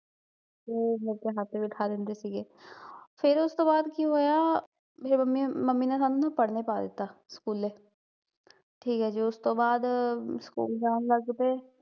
ਤੇ ਮੇਰੇ ਤੇ ਹੱਥ ਵੀ ਖਾ ਲੈਂਦੇ ਸੀਗੇ, ਫੇਰ ਓਸਤੋਂ ਬਾਦ ਕੀ ਹੋਇਆ, ਫੇਰ ਮੰਮੀ ਮੰਮੀ ਨੇ ਸਾਨੂੰ ਨਾ ਪੜਨੇ ਪਾ ਦਿੱਤਾ, ਸਕੂਲੇ ਠੀਕ ਐ ਜੀ, ਉਸ ਤੋਂ ਬਾਅਦ ਸਕੂਲ ਜਾਂ ਲੱਗਪਏ